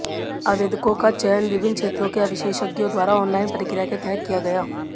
आवेदकों का चयन विभिन्न क्षेत्रों के विशेषज्ञों द्वारा ऑनलाइन प्रक्रिया के तहत किया गया